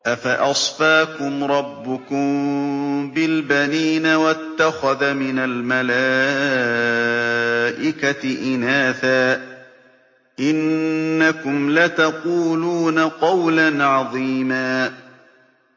أَفَأَصْفَاكُمْ رَبُّكُم بِالْبَنِينَ وَاتَّخَذَ مِنَ الْمَلَائِكَةِ إِنَاثًا ۚ إِنَّكُمْ لَتَقُولُونَ قَوْلًا عَظِيمًا